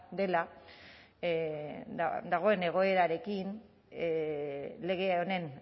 dela dagoen egoerarekin lege honen